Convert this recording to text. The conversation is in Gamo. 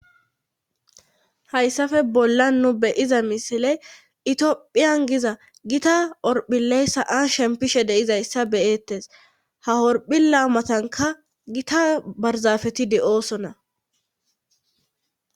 Hayssafe bolla nu beyiza misiley itiophiyan giza gita orphiley sa7an shempishe deizayssa beyettes ha horphi laamatanka gita barzafeti de oosonna